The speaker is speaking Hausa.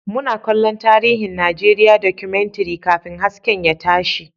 Muna kallon tarihin Najeriya Documentary kafin hasken ya tashi